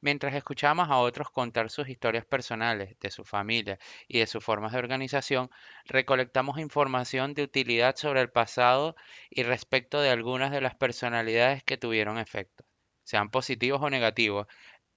mientras escuchábamos a otros contar sus historias personales de sus familias y de sus formas de organización recolectamos información de utilidad sobre el pasado y respecto de algunas de las personalidades que tuvieron efectos sean positivos o negativos